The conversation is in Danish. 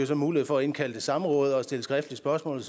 så mulighed for at indkalde til samråd og stille skriftlige spørgsmål